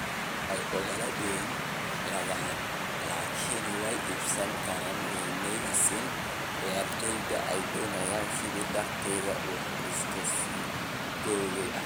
Way ogolaadeen laakiin way iibsan kari waayeen ciyaartoygii ay doonayeen, sidaa darteed wuxuu iska sii joogay Arsenal”.